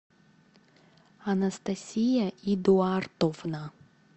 анастасия эдуардовна